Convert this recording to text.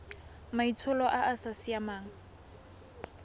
maitsholo a a sa siamang